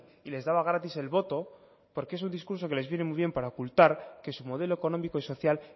y les daba gratis el voto porque es un discurso que les viene muy bien para ocultar que su modelo económico y social